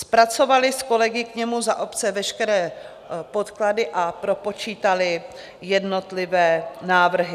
Zpracovali s kolegy k němu za obce veškeré podklady a propočítali jednotlivé návrhy.